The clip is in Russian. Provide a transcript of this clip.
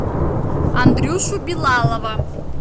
андрюшу билалова